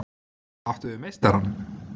Áttu við meistarann?